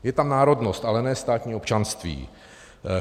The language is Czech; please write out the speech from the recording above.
Je tam národnost, ale ne státní občanství.